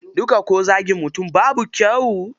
Duka ko zagin mutum babu kyau.